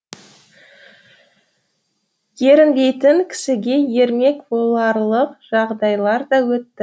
ерінбейтін кісіге ермек боларлық жағдайлар да өтті